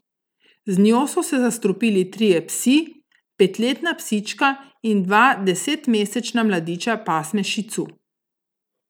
Z njo so se zastrupili trije psi, petletna psička in dva desetmesečna mladiča pasme šicu.